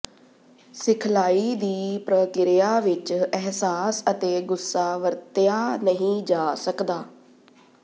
ਸਿਖਲਾਈ ਦੀ ਪ੍ਰਕਿਰਿਆ ਵਿਚ ਅਹਿਸਾਸ ਅਤੇ ਗੁੱਸਾ ਵਰਤਿਆ ਨਹੀਂ ਜਾ ਸਕਦਾ